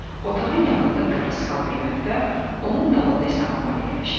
Otağın yanında darısqal bir mətbəx, onun dalında isə anbar yerləşirdi.